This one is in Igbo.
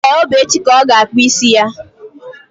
e, ọ bụ echi ka ọ ga-akpụ isi ya.